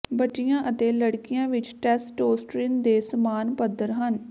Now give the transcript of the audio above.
ਬੱਚਿਆਂ ਅਤੇ ਲੜਕੀਆਂ ਵਿੱਚ ਟੈਸਟੋਸਟਰੀਨ ਦੇ ਸਮਾਨ ਪੱਧਰ ਹਨ